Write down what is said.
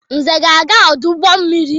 Nze ga-aga ọdụ ụgbọ mmiri.